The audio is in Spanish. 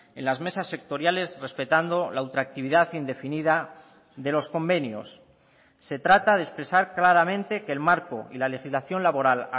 en las mesas sectoriales respetando la ultraactividad indefinida de los convenios se trata de expresar claramente que el marco y la legislación laboral